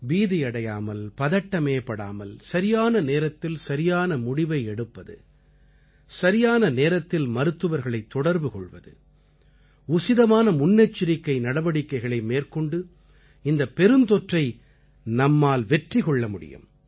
பீதியடையாமல் பதட்டமே படாமல் சரியான நேரத்தில் சரியான முடிவை எடுப்பது சரியான நேரத்தில் மருத்துவர்களைத் தொடர்பு கொள்வது உசிதமான முன்னெச்சரிக்கை நடவடிக்கைகளை மேற்கொண்டு இந்தப் பெருந்தொற்றை நம்மால் வெற்றி கொள்ள முடியும்